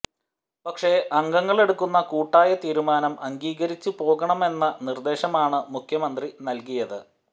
പക്ഷേ അംഗങ്ങളെടുക്കുന്ന കൂട്ടായ തീരുമാനം അംഗീകരിച്ചു പോകണമെന്ന നിര്ദേശമാണ് മുഖ്യമന്ത്രി നല്കിയത്